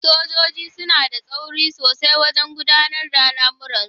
Sojoji suna da tsauri sosaiwajen gudanar da lamurransu.